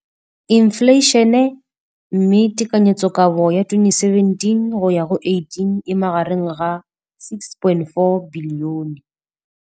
Infleišene, mme tekanyetsokabo ya 2017, 18, e magareng ga R6.4 bilione.